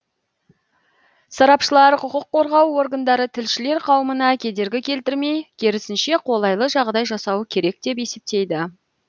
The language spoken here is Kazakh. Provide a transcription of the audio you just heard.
сарапшылар құқық қорғау органдары тілшілер қауымына кедергі келтірмей керісінше қолайлы жағдай жасауы керек деп есептейді